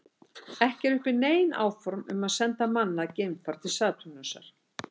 Ekki eru uppi nein áform að senda mannað geimfar til Satúrnusar.